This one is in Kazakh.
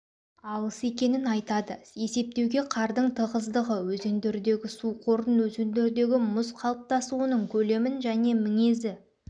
алыс екенін айтады есептеуге қардың тығыздығы өзендердегі су қорын өзендердегі мұз қалыптасуының көлемін және міңезі